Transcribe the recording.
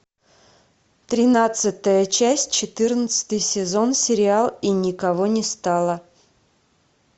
тринадцатая часть четырнадцатый сезон сериал и никого не стало